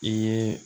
I ye